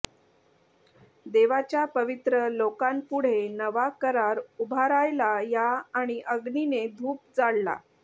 देवाच्या पवित्र लोकांपुढे नवा करार उभारायला या आणि अग्नीने धूप जाळला